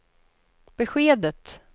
beskedet